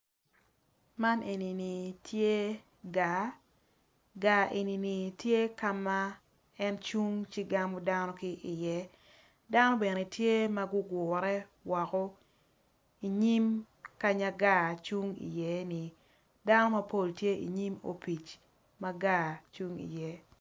Man enini tye gar gar enini tye ka ma en cung ci gamo dano ki iye dano bene tye ma gugure woko inyim kanya kar cung iyeni dano mapol tye inyim opic kanya gar cung iye.